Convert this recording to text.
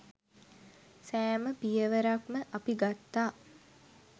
සෑම පියවරක්ම අපි ගත්තා.